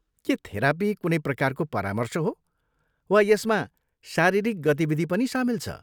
के थेरापी कुनै प्रकारको परामर्श हो, वा यसमा शारीरिक गतिविधि पनि सामेल छ?